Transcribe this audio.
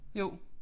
Jo